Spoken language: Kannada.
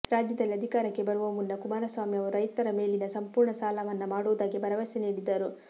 ರಾಜ್ಯದಲ್ಲಿ ಅಧಿಕಾರಕ್ಕೆ ಬರುವ ಮುನ್ನ ಕುಮಾರಸ್ವಾಮಿ ಅವರು ರೈತರ ಮೇಲಿನ ಸಂಪೂರ್ಣ ಸಾಲ ಮನ್ನಾ ಮಾಡುವುದಾಗಿ ಭರವಸೆ ನೀಡಿದ್ದರು